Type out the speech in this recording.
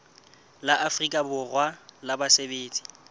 la afrika borwa la basebetsi